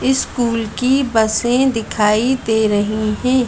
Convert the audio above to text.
School की बसें दिखाई दे रही हैं।